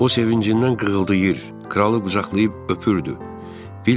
O sevincindən qığıldayır, kralı qucaqlayıb öpürdü.